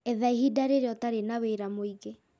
Etha ihinda rĩrĩa ũtarĩ na wĩra mũingĩ